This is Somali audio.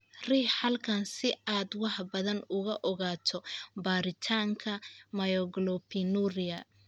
Riix halkan si aad wax badan uga ogaato baaritaanka myoglobinuria.